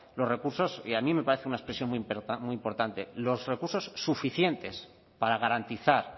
los recursos y a mí me parece una expresión muy importante los recursos suficientes para garantizar